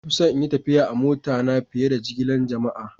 Na fi son yin tafiya a'mota na fiyar da jigilan jama'a.